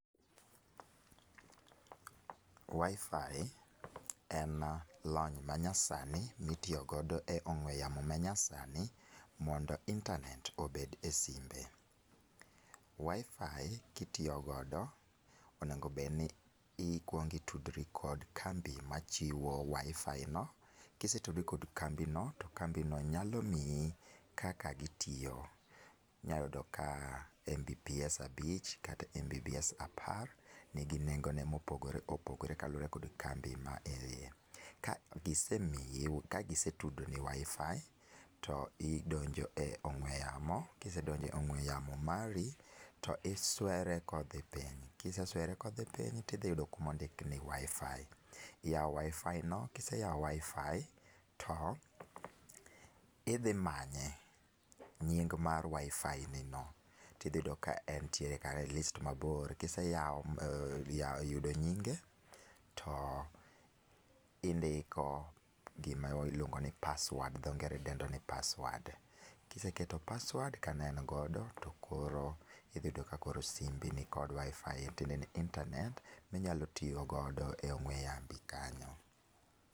wifi en lony manyasani mi tiyo godo e ong'we yamo manyasani mondo internet obed e simbe, wifi kitiyo godo onego bed ni ikuongi itudri kod kambi machiwo machiwo wifi no ,kisetudri kod kambi no to kambi no nyalo miyi kaka gitiyo inyalo yudo ka mbps abich kata mbps apar nigi nengo ne mopogore opogore kaluwore kod kambi ma keye, ka gise tudo ni wifi to idonjo e ong'ue yamo ka isedpnjo e ong'ue yamo to iswere kodhi piny, tidhi yudo kumo ndik ni wifi iyawo wifi no kiseyawo wifi to idhi manye nying' mar wifi ni no to idhi yudo ka entie kar list mabor, kiseyudo nyinge to indiko gima iluong'o ni password dho ngere dendo ni password kiseketo password kane en godo to koro idhi yudo simbi ni gi kod wifi tiende ni internet ma inyalo tiyo godo e ong'ue yambi kanyo.